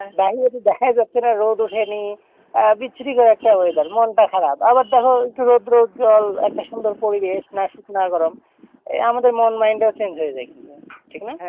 বাইরে তো দেখাই যাচ্ছে না রোদ ওঠেনি বিচ্ছিরি ভাবে একটা weather মনটা খারাপ। আবার দেখো একটু রৌদ্রোজ্বল একটা সুন্দর পরিবেশ না শীত না গরম এই আমাদের মন mind টাও change হয়ে যায় কিন্তু ঠিক না?